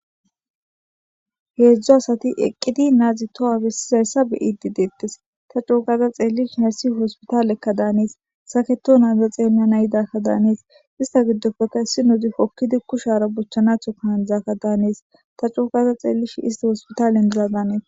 Heedzdo asati eqqidi naazi toha bessizayssa beyidi deettes ta cookaza xeellish hayssi hospitaaleekka daanees saketo naaza xeelma nayidakka daanees ista giddofeka issi nodi hokkidi kushara bochchanatho kaandzaakka daanees ta cuokaza xeellish isti hospitaalendiza daanees.